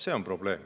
See on probleem.